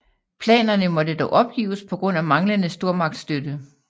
Planerne måtte dog opgives på grund af manglende stormagtsstøtte